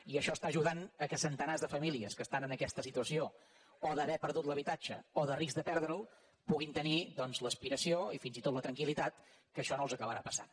i això ajuda que centenars de famílies que estan en aquesta situació o d’haver perdut l’habitatge o de risc de perdre’l puguin tenir doncs l’aspiració i fins i tot la tranquil·litat que això no els acabarà passant